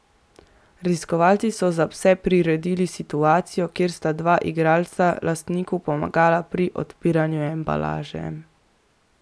Raziskovalci so za pse priredili situacijo, kjer sta dva igralca lastniku pomagala pri odpiranju embalaže.